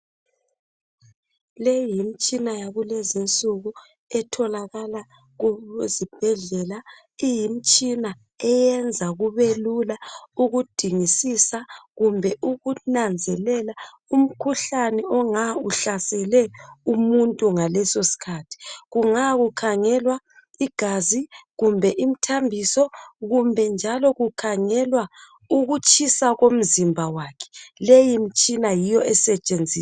leyi yimtshina yakulezinsuku etholakala kubo zibhedlela iyimtshina eyenza kubelula ukudingisisa kumbe ukunanzelela umkhuhlane onga uhlasele umuntu ngalesosikhathi kunga kukhangelwa igazi kumbe imthambiso kumbe njalo kukhangelwa ukutshisa komzimba wakhe leyimtshina yiyo esetshenziswayo